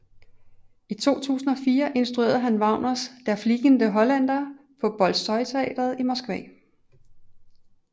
I 2004 instruerede han Wagners Der fliegende Holländer på Bolsjojteatret i Moskva